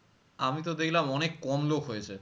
আমিতো দেখলাম অনেক কম লোক হয়েছে